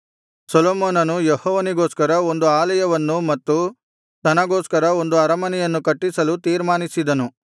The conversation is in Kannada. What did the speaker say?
ಸೊಲೊಮೋನನು ಯೆಹೋವನಿಗೋಸ್ಕರ ಒಂದು ಆಲಯವನ್ನೂ ಮತ್ತು ತನಗೋಸ್ಕರ ಒಂದು ಅರಮನೆಯನ್ನೂ ಕಟ್ಟಿಸಲು ತೀರ್ಮಾನಿಸಿದನು